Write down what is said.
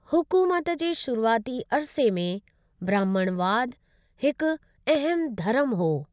हुकूमत जे शुरुआती अरिसे में, ब्राह्मणवाद हिक अहम धर्म हो।